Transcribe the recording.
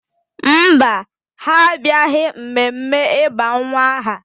Mba, ha abịaghị mmemme ịba nwa m aha